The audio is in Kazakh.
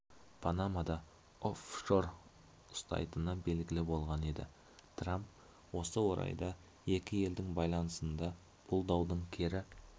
панамада оффшор ұстайтыны белгілі болған еді трамп осы орайда екі елдің байланысында бұл даудың кері